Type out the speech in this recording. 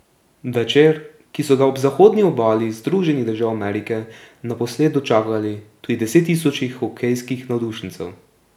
Večer, ki so ga ob zahodni obali Združenih držav Amerike naposled dočakali tudi desettisoči hokejskih navdušencev.